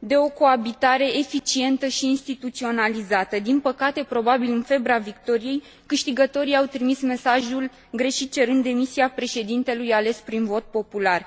de o coabitare eficientă și instituționalizată. Din păcate, probabil în febra victoriei, câștigătorii au trimis mesajul greșit cerând demisia președintelui ales prin vot popular.